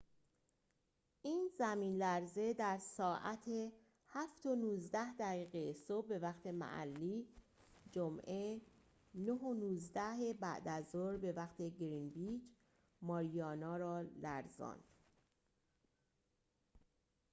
این زمین‌لرزه در ساعت 07:19 دقیقه صبح به وقت محلی جمعه 09:19 بعدازظهر به وقت گرینویچ ماریانا را لرزاند